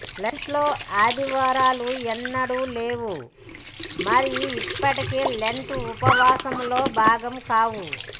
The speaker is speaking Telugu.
లెంట్ లో ఆదివారాలు ఎన్నడూ లేవు మరియు ఇప్పటికీ లెంట్ ఉపవాసంలో భాగం కావు